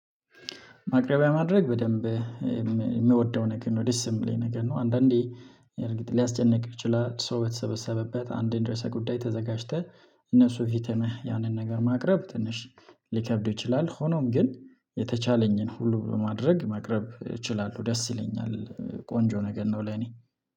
ማቅረቢያ ማድረግ በደንብ የምወደው ነገር ነው ደስ የሚለኝ ነገር ነው። አንዳንዴ እርግጥ ሊያስጨንቅ ይችላል ሰው በተሰበሰበበት አንድን ርዕሰ ጉዳይ ተዘጋጅተህ እነሱ ፊትሁነህ ያንን ነገር ማቅረብ ትንሽ ሊከብድ ይችላል። ሆኖም ግን የተቻለኝን ሁሉ በማድረግ ማቅረብ እችላለሁ ደስ ይለኛል ቆንጆ ነገር ነው። ለኔ